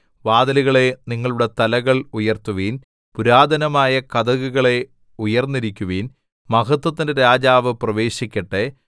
വാതിലുകളേ നിങ്ങളുടെ തലകൾ ഉയർത്തുവിൻ പുരാതനമായ കതകുകളേ ഉയർന്നിരിക്കുവിൻ മഹത്വത്തിന്റെ രാജാവ് പ്രവേശിക്കട്ടെ